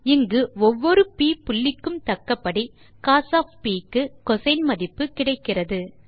இங்கு ஒவ்வொரு ப் புள்ளிக்கும் தக்கபடி கோஸ் க்கு கோசின் மதிப்பு கிடைக்கிறது